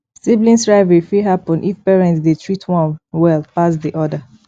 sibling rivalry fit happen if parent de treat one well pass di other